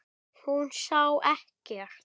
Hún sá ekkert.